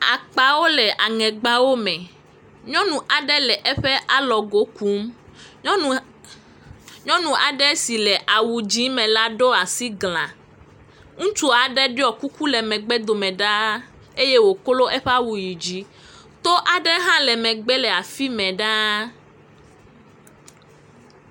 Akpawo le aŋegbawo me. Nyɔnu aɖe le eƒe alɔgo kum. Nyɔnua aa. Nyɔnu aɖe si le awu dzi me la ɖo asi gla. Ŋutsu aɖe ɖɔ kuku le megbe dome ɖa eye woklo eƒe awu yi dzi. To aɖe hã le megbe le afi me ɖaa.